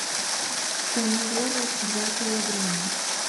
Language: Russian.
помидоры два килограмма